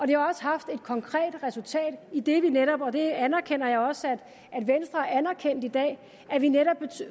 det har også haft et konkret resultat idet vi netop og det anerkender jeg også at venstre anerkendte i dag